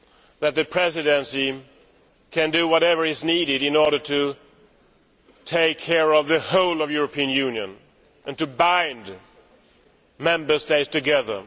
that the Presidency be able do whatever is needed in order to take care of the entire European Union and to bind Member States together.